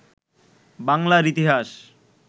বাংলার ইতিহাস